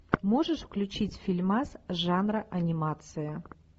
можешь включить фильмас жанра анимация